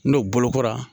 N'o bolokora